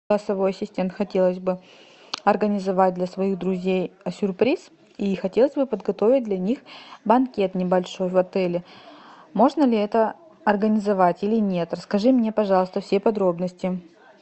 голосовой ассистент хотелось бы организовать для своих друзей сюрприз и хотелось бы подготовить для них банкет небольшой в отеле можно ли это организовать или нет расскажи мне пожалуйста все подробности